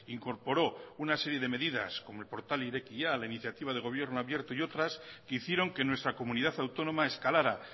incorporó una serie de medidas como el portal irekia la iniciativa del gobierno abierto y otras que hicieron que nuestra comunidad autónoma escalara